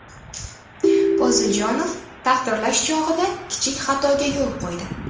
Poziljonov taqdirlash chog‘ida kichik xatoga yo‘l qo‘ydi.